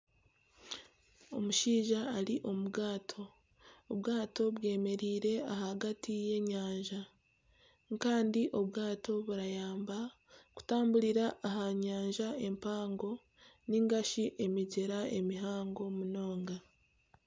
Omushaija ari omu bwato bemereire ahagati y'enyanja kandi obwato nibuyamba kutamburira aha nyanja empango ninga shi emigyera mihango munonga